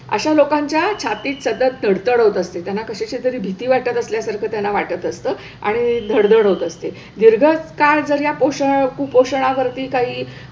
अशा लोकांच्या छातीत सतत धडधड होत असते. त्यांना कशाची तरी भीती वाटत असल्यासारखं त्यांना वाटत असतं आणि धडधड होत असते. दीर्घकाळ जर या पोष कुपोषणावरती काही,